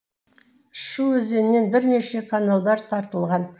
шу өзенінен бірнеше каналдар тартылған